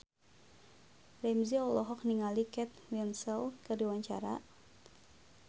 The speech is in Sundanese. Ramzy olohok ningali Kate Winslet keur diwawancara